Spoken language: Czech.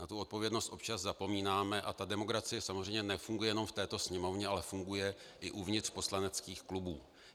Na tu odpovědnost občas zapomínáme a ta demokracie samozřejmě nefunguje jenom v této Sněmovně, ale funguje i uvnitř poslaneckých klubů.